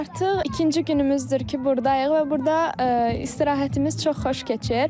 Artıq ikinci günümüzdür ki, burdayıq və burda istirahətimiz çox xoş keçir.